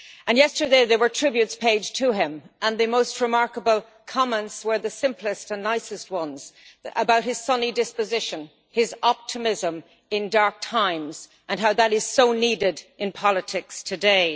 Yesterday there were tributes paid to him, and the most remarkable comments were the simplest and nicest ones about his sunny disposition, his optimism in dark times, and how that is so needed in politics today.